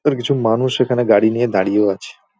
আর কিছু মানুষ এখানে গাড়ি নিয়ে দাঁড়িয়েও আছে ।